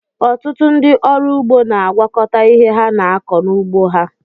Ọtụtụ ndị ọrụ ụgbọ na-agwakọta ihe ha na-akọ n'ụgbọ ha.